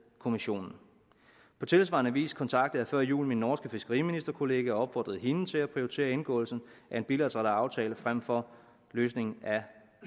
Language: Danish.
kommissionen på tilsvarende vis kontaktede jeg før jul min norske fiskeriministerkollega og opfordrede hende til at prioritere indgåelsen af en bilateral aftale frem for løsningen